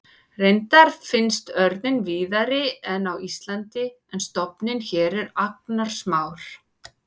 Reyndar finnst örninn víðari en á Íslandi en stofninn hér er agnarsmár.